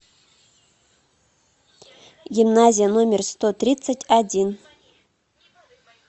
гимназия номер сто тридцать один